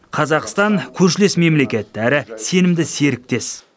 қазақстан көршілес мемлекет әрі сенімді серіктес